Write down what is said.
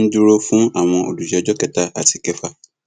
ń dúró fún àwọn olùjẹjọ kẹta àti ìkẹfà